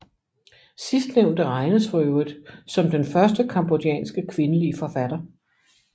Sidstnævnte regnes for øvrigt som den første cambodjanske kvindelige forfatter